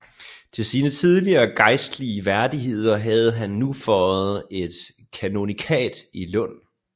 Til sine tidligere gejstlige værdigheder havde han nu føjet et kanonikat i Lund